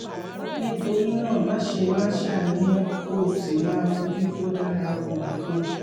nítorí náà máṣe máa ṣàníyàn kó o sì máa fojú tó dára wo nǹkan